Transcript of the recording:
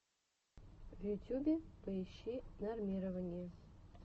в ютюбе поищи нормирование